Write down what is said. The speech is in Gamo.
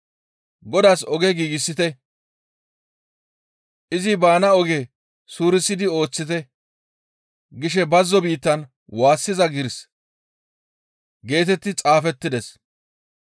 ‹Godaas oge giigsite; izi baana oge suurisidi ooththite› gishe bazzo biittan waassiza giiris» geetetti xaafettides.